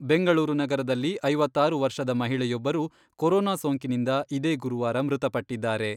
ಬೆಂಗಳೂರು ನಗರದಲ್ಲಿ ಐವತ್ತಾರು ವರ್ಷದ ಮಹಿಳೆಯೊಬ್ಬರು ಕೊರೊನಾ ಸೋಂಕಿನಿಂದ ಇದೇ ಗುರುವಾರ ಮೃತಪಟ್ಟಿದ್ದಾರೆ.